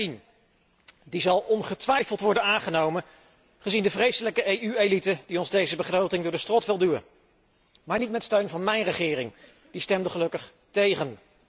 2013. Die zal ongetwijfeld worden aangenomen, gezien de vreselijke EU elite die ons deze begroting door de strot wil duwen. Maar niet met steun van mijn regering, die stemde gelukkig tegen.